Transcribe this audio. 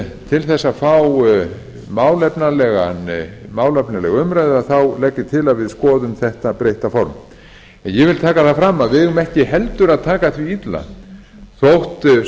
til þess að fá málefnalega umræðu legg ég til að við skoðum þetta breytta form en ég vil taka fram að við eigum ekki heldur að taka því illa þótt